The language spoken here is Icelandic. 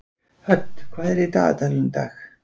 Hödd, hvað er í dagatalinu í dag?